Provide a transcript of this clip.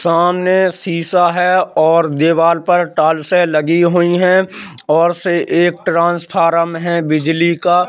सामने शिशॉ है और दीवार पर टाइल्स से लगी हुई है और से एक ट्रांसफॉर्म है बिजली का --